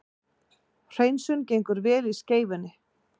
Hreinsun gengur vel í Skeifunni